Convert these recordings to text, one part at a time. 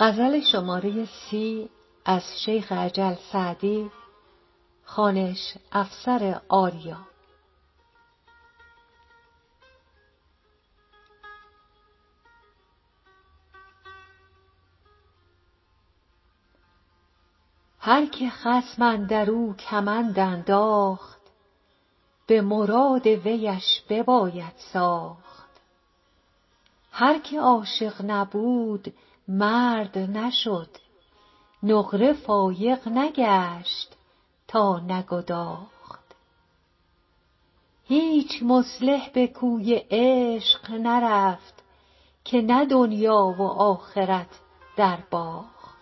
هر که خصم اندر او کمند انداخت به مراد ویش بباید ساخت هر که عاشق نبود مرد نشد نقره فایق نگشت تا نگداخت هیچ مصلح به کوی عشق نرفت که نه دنیا و آخرت درباخت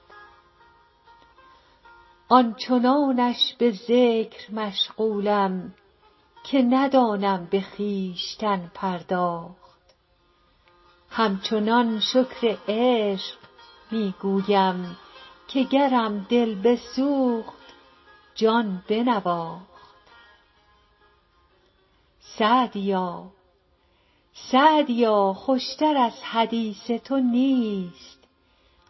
آن چنانش به ذکر مشغولم که ندانم به خویشتن پرداخت همچنان شکر عشق می گویم که گرم دل بسوخت جان بنواخت سعدیا خوش تر از حدیث تو نیست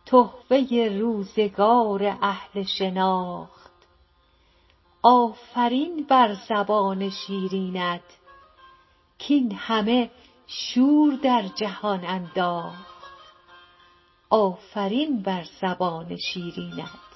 تحفه روزگار اهل شناخت آفرین بر زبان شیرینت کاین همه شور در جهان انداخت